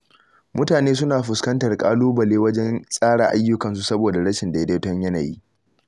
Mutane suna fuskantar ƙalubale wajen tsara ayyukansu saboda rashin daidaiton yanayi.